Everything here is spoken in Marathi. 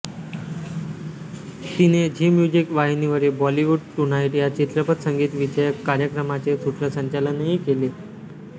तिने झी म्युझिक वाहिनीवरील बॉलिवुड टुनाइट या चित्रपट संगीतविषयक कार्यक्रमाचे सूत्रसंचालनही केले